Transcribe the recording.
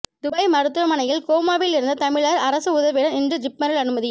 Dubai மருத்துவமனையில் கோமாவில் இருந்த தமிழர் அரசு உதவியுடன் இன்று ஜிப்மரில் அனுமதி